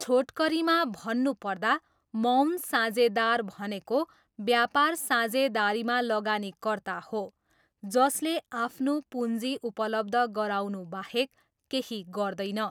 छोटकरीमा भन्नुपर्दा, मौन साझेदार भनेको व्यापार साझेदारीमा लगानीकर्ता हो जसले आफ्नो पुँजी उपलब्ध गराउनुबाहेक केही गर्दैन।